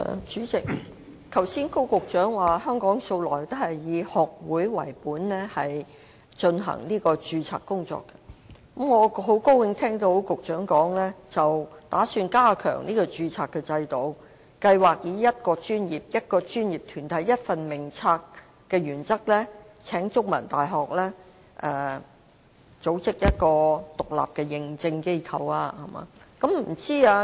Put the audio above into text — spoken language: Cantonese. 主席，高局長剛才說香港素來都是以學會為本進行註冊，我亦很高興聽到局長表示有意加強註冊制度，計劃以"一個專業、一個專業團體、一份名冊"的原則運作，並邀請香港中文大學為計劃的獨立認證機構。